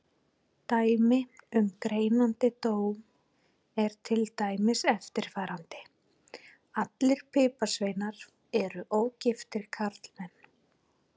Dæmi um greinandi dóm er til dæmis eftirfarandi: Allir piparsveinar eru ógiftir karlmenn.